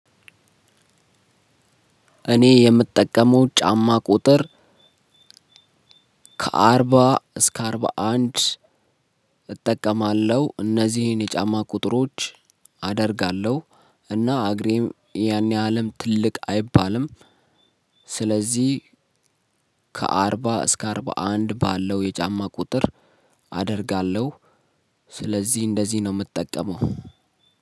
እኔ የምጠቀመው ጫማ ቁጥር ከአርባ እስከ አርባ አንድ እጠቀማለሁ እነዚህን የጫማ ቁጥሮች አደርጋለሁ። እና እግሬም ያኔ እልም ትልቅ አይባልም። ስለዚህ ከአርባ እስከ አርባ አንድ ባለው የጫማ ቁጥር አደርጋለሁ። ስለዚህ እንደዚህ ነው የምትጠቀመው?